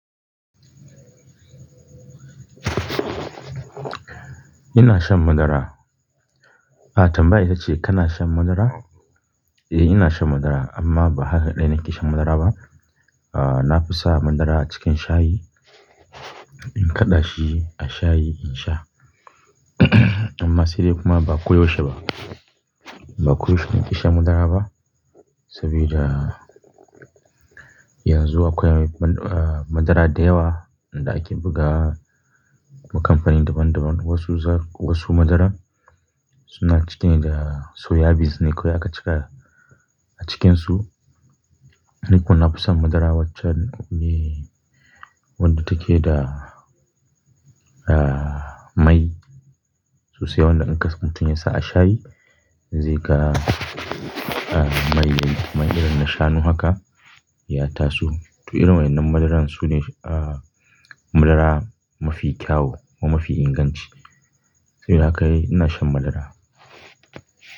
Ina shan madara. Ah tambayar ita ce kana shan madara? Eh ina shan madara amma ba haka dai na ke shan madara ba. Ah na fi sa madara cikin shayi, in kaɗa shi a shayi in sha. Amma sai dai kuma ba koyaushe ba. Ba koyaushe na ke sha madara ba saboda yanzu akwai man-- ah madara da yawa. Inda ake buga wa kamfanin daban daban. Wasu zar-- wasu madara suna cike ne da soya beans ne kawai aka cika a cikinsu. Ni kuma na fi son madara wacce ne wadda take da ah mai sosai wadda in kas mutun yasa a shayi zai ga ah mai, mai irin na shanu haka ya taso. To irin wannan madaran sune ah madara mafi kyau wa mafi inganci. Saboda haka ina shan madara.